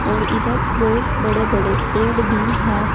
और इधर बहुत बड़े बड़े पेड़ भी है।